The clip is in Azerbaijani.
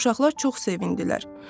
Uşaqlar çox sevindilər.